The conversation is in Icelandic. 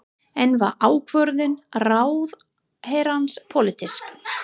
En var ákvörðun ráðherrans pólitísk?